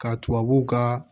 Ka tubabuw kaa